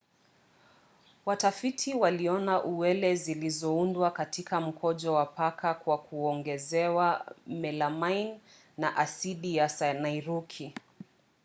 watafiti waliona uwele zilizoundwa katika mkojo wa paka kwa kuongezewa melamine na asidi ya sianiuriki